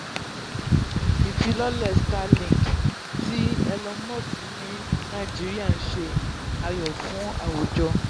ifilọlẹ starlink um ti elon musk ní nàìjíríà ń ṣe ayọ̀ fún um àwùjọ. um